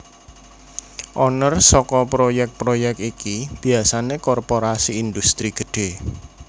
Owner saka proyèk proyèk iki biasané korporasi indhustri gedhé